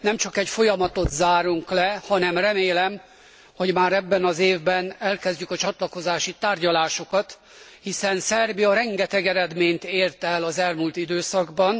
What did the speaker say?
Nemcsak egy folyamatot zárunk le, hanem remélem, hogy már ebben az évben megkezdjük a csatlakozási tárgyalásokat, hiszen Szerbia rengeteg eredményt ért el az elmúlt időszakban.